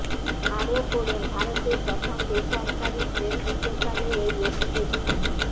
আরও পড়ুন ভারতের প্রথম বেসরকারি ট্রেন হতে পারে এই এক্সপ্রেসটি